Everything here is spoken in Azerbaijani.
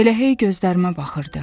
Elə hey gözlərimə baxırdı.